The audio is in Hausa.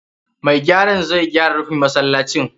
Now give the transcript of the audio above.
Mai gyaran zai zo ya gyara rufin masallacin.